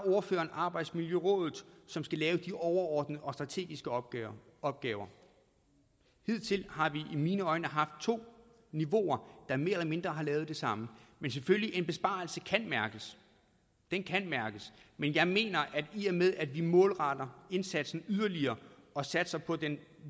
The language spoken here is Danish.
ordføreren arbejdsmiljørådet som skal lave de overordnede og strategiske opgaver opgaver hidtil har vi i mine øjne haft to niveauer der mere eller mindre har lavet det samme men selvfølgelig kan en besparelse mærkes den kan mærkes men jeg mener at i og med at vi målretter indsatsen yderligere og satser på den